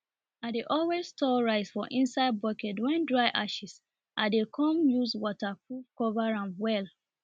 i dey always store rice for inside bucket wen dry ashes l dey com use waterproof cover am well